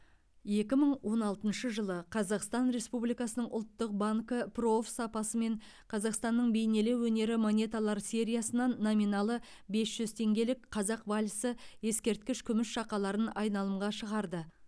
екі мың он алтыншы жылы қазақстан республикасының ұлттық банкі прооф сапасымен қазақстанның бейнелеу өнері монеталар сериясынан номиналы бес жүз теңгелік қазақ вальсі ескерткіш күміс шақаларын айналымға шығарды